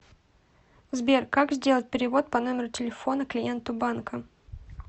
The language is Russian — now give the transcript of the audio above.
сбер как сделать перевод по номеру телефона клиенту банка